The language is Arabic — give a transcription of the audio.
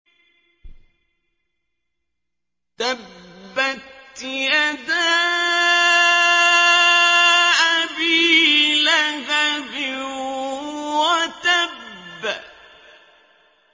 تَبَّتْ يَدَا أَبِي لَهَبٍ وَتَبَّ